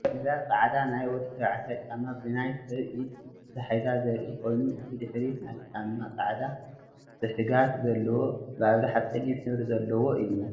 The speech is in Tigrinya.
እዛ ፃሕዳ ናይ ወዲ ተባዕታይ ጫማ ብናይ ሰብ ኢድ ተታሒዙ ዘርኢ ኮይኑ እቲ ድሕሪት ናይቲ ጫማ ፃዕዳ ፅሕጋግ ዘለዎ ብአብዛሓ ፀሊም ሕብሪ ዘለዎ እዩ፡፡